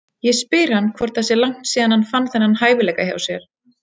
Ég spyr hann hvort það sé langt síðan hann fann þennan hæfileika hjá sér.